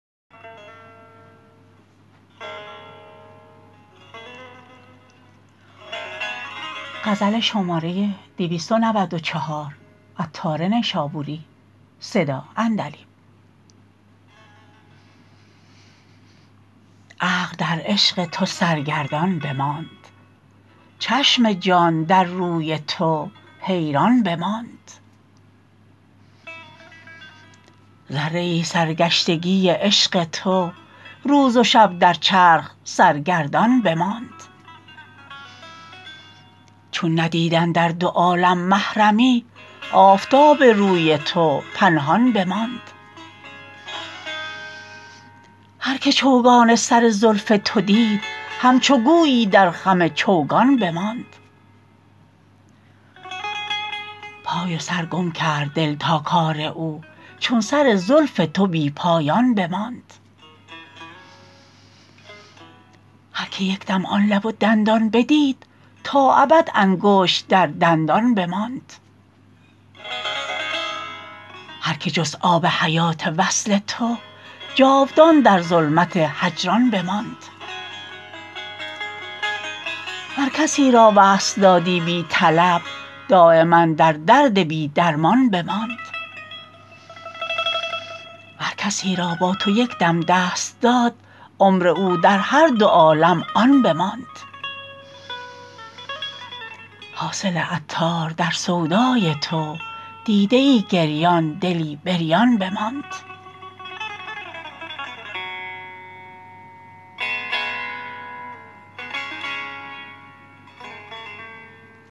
عقل در عشق تو سرگردان بماند چشم جان در روی تو حیران بماند ذره ای سرگشتگی عشق تو روز و شب در چرخ سرگردان بماند چون ندید اندر دو عالم محرمی آفتاب روی تو پنهان بماند هر که چوگان سر زلف تو دید همچو گویی در خم چوگان بماند پای و سر گم کرد دل تا کار او چون سر زلف تو بی پایان بماند هر که یکدم آن لب و دندان بدید تا ابد انگشت در دندان بماند هر که جست آب حیات وصل تو جاودان در ظلمت هجران بماند ور کسی را وصل دادی بی طلب دایما در درد بی درمان بماند ور کسی را با تو یک دم دست داد عمر او در هر دو عالم آن بماند حاصل عطار در سودای تو دیده ای گریان دلی بریان بماند